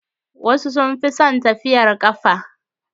Wasu sun fi son tafiyar ƙafa.